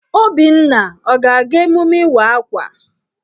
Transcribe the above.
Obinna ọ ga-aga emume Ịwa Akwa?